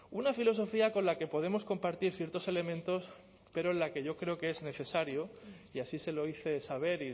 una filosofía con la que podemos compartir ciertos elementos pero en la que yo creo que es necesario y así se lo hice saber